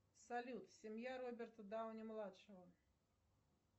салют семья роберта дауни младшего